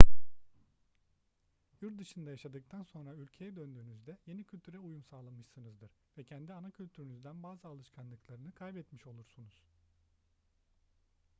yurt dışında yaşadıktan sonra ülkeye döndüğünüzde yeni kültüre uyum sağlamışsınızdır ve kendi ana kültürünüzden bazı alışkanlıklarını kaybetmiş olursunuz